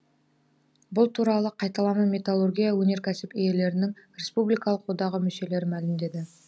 бұл туралы қайталама металлургия өнеркәсіп иелерінің республикалық одағы мүшелері мәлімдеді